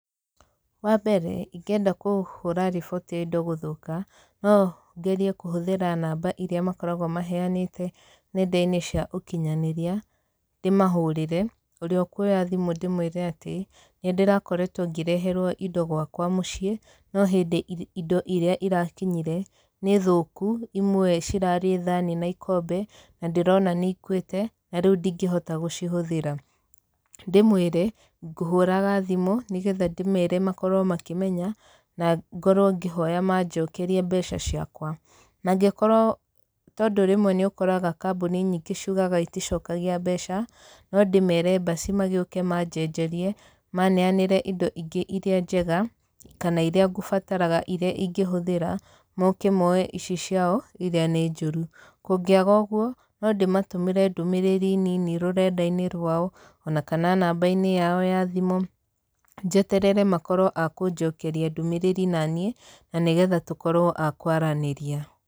Wa mbere ingĩenda kũhũra riboti ya indo gũthũka, no ngerie kũhũthĩra namba irĩa makoragwo maheanĩte nenda-inĩ cia ũkinyanĩria, ndĩmahũrĩre. Ũrĩa ũkuoya thimũ ndĩmũĩre atĩ, nĩ ndĩrakoretwo ngĩreherwo indo gwakwa mũciĩ, no hindĩ indo irĩa irakinyire, nĩ thũku. Imwe cirarĩ thaani na ikombe, na ndĩrona nĩ ikuĩte, na rĩu ndingĩhota gũcihũthĩra. Ndĩmwĩre, ngũhũraga thimũ, nĩgetha ndĩmere makorwo makĩmenya, na ngorwo ngĩhoya manjokerie mbeca ciakwa. Mangĩkorwo tondũ rĩmwe nĩ ũkoraga kambuni ciugaga iticokagia mbeca, no ndĩmere mbaci magĩũke manjenjerie, maneanĩre indo ingĩ irĩa njega, kana irĩa ngũbataraga irĩa ingĩhũthĩra, moke moye ici ciao irĩa nĩ njũru. Kũngĩaga ũguo, no ndĩmatũmĩre ndũmĩrĩri nin rũrenda-inĩ rwao, ona kana namba-inĩ yao ya thimũ, njeterere makorwo a kũnjokeria ndũmĩrĩri naniĩ, na nĩgetha tũkorwo a kũaranĩria.